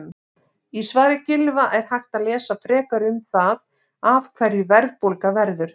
Í svari Gylfa er hægt að lesa frekar um það af hverju verðbólga verður.